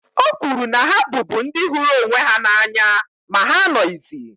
O kwuru na ha bụbu ndị hụrụ onwe ha n’anya ma ha anọghịzi